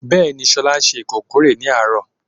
Bẹẹni, Shola ṣe ikokore ni aaro